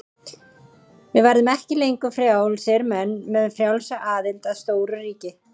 Við verðum ekki lengur frjálsir menn með frjálsa aðild að stóru ríki.